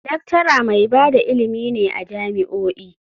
Lecturer mai ba da ilimi ne a jami'o'i.